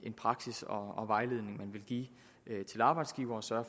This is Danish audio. praksis og vejledning man vil give til arbejdsgiverne så